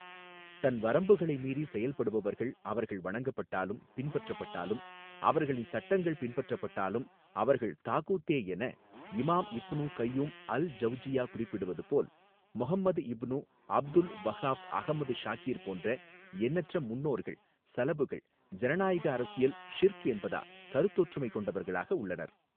தன் வரம்புகளை மீறி செயல்படுவர்கள் அவர்கள் வணங்கப்பட்டாலும் பின்பற்றப்பட்டாலும் அவர்களின் சட்டங்கள் பின்பற்றப்பட்டாலும் அவர்கள் தாகூத்தே என இமாம் இப்னு கய்யூம் அல் ஜவ்ஜியா குறிப்பிடுவது போல் Muhammad ibn Abdul Wahhab Ahmad Shakir போன்ற எண்ணற்ற முன்னோர்கள் ஸலபுகள் ஜனநாயக அரசியல் ஷிர்க் என்பதா கருத்தொற்றுமை கொண்டவர்களாக உள்ளனர்.